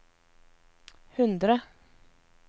hundre